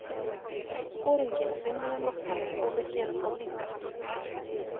Foringinn vinnur á nóttunni og við gerum það líka.